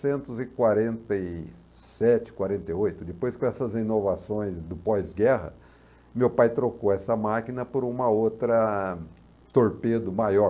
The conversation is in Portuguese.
Depois com essas inovações do pós-guerra, meu pai trocou essa máquina por uma outra torpedo maior.